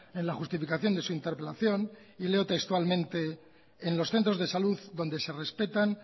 en la justificación de su interpelación y leo textualmente en los centros de salud donde se respetan